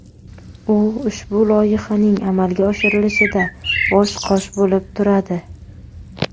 U ushbu loyihaning amalga oshirilishida bosh-qosh bo‘lib turadi.